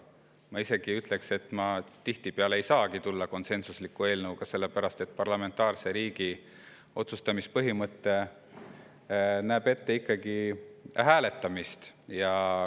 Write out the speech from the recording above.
Ma ütleksin isegi, et tihtipeale ei saagi ma siia konsensusliku eelnõuga tulla, sellepärast et parlamentaarse riigi otsustamispõhimõte näeb ette hääletamist.